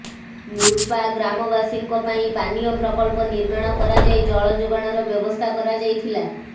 ନୂର୍ପା ଗ୍ରାମବାସୀଙ୍କ ପାଇଁ ପାନୀୟ ପ୍ରକଳ୍ପ ନିର୍ମାଣ କରାଯାଇ ଜଳ ଯୋଗାଣର ବ୍ୟବସ୍ଥା କରାଯାଇଥିଲା